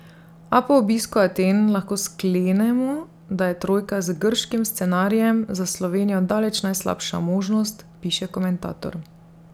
A po obisku Aten lahko sklenemo, da je trojka z grškim scenarijem za Slovenijo daleč najslabša možnost, piše komentator.